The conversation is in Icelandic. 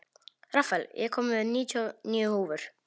Rafael, ég kom með níutíu og níu húfur!